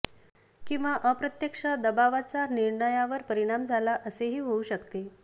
किंवा अप्रत्यक्ष दबावाचा निर्णयावर परिणाम झाला असेही होऊ शकते